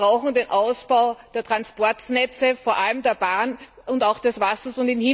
Wir brauchen den Ausbau der Transportnetze, vor allem der Bahn und des Wassers.